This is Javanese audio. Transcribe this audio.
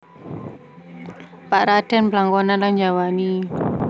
Pak Raden blangkonan lang njawani